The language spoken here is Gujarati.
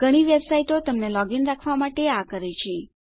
ઘણી વેબસાઈટો તમને લોગ ઇન રાખવા માટે આ કરે છે